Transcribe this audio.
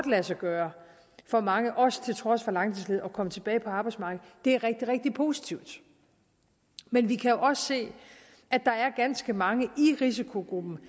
lade sig gøre for mange også til trods for langtidsledighed at komme tilbage på arbejdsmarkedet det er rigtig rigtig positivt men vi kan jo også se at der er ganske mange i risikogruppen